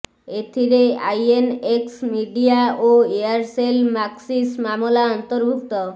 ଏଥିରେ INX media ଓ Aircel Maxis ମାମଲା ଅନ୍ତର୍ଭୁକ୍ତ